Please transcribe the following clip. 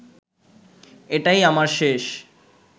এটাই আমার শেষ